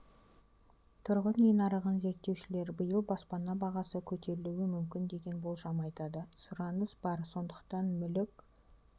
тұрғын үй нарығын зерттеушілер иыл баспана бағасы көтерілуі мүмкін деген болжам айтады сұраныс бар сондықтан мүлік